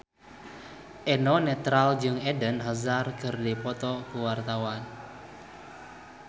Eno Netral jeung Eden Hazard keur dipoto ku wartawan